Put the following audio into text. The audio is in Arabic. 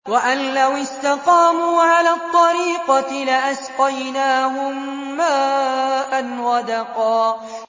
وَأَن لَّوِ اسْتَقَامُوا عَلَى الطَّرِيقَةِ لَأَسْقَيْنَاهُم مَّاءً غَدَقًا